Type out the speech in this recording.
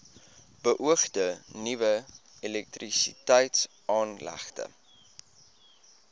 beoogde nuwe elektrisiteitsaanlegte